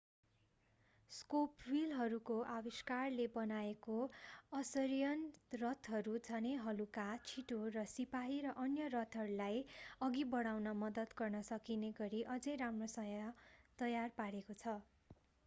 spoke व्हीलहरूको आविष्कारले बनाएको असरियन रथहरू झनै हलुका छिटो र सिपाही र अन्य रथहरूलाई अघि बढाउन मद्दत गर्न सकिने गरी अझै राम्रोसँग तयार पारेको छ